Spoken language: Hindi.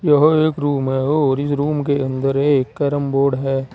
यह एक रूम है और इस रूम के अंदर एक कैरम बोर्ड है।